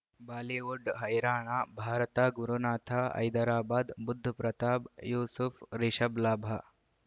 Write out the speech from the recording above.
Bollywood ಹೈರಾಣ ಭಾರತ ಗುರುನಾಥ ಹೈದರಾಬಾದ್ ಬುಧ್ ಪ್ರತಾಪ್ ಯೂಸುಫ್ ರಿಷಬ್ ಲಾಭ